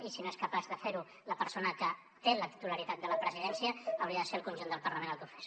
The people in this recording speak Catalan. i si no és capaç de fer ho la persona que té la titularitat de la presidència hauria de ser el conjunt del parlament el que ho fes